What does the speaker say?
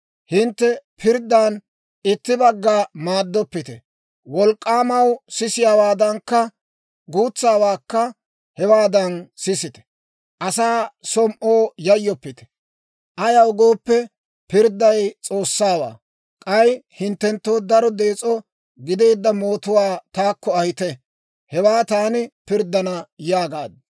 Hintte pirddan itti bagga maaddoppite; wolk'k'aamawaa sisiyaawaadankka, guutsaawaakka hewaadan sisite; asaa som"oo yayyoppite; ayaw gooppe, pirdday S'oossawaa. K'ay hinttenttoo daro dees'o gideedda mootuwaa taakko ahite; hewaa taani pirddana› yaagaad.